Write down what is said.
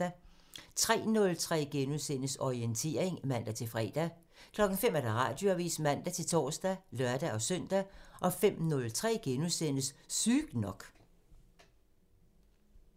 03:03: Orientering *(man-fre) 05:00: Radioavisen (man-tor og lør-søn) 05:03: Sygt nok *(man)